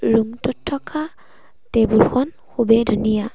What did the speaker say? ৰূমটোত থকা টেবুল খন খুবেই ধুনীয়া।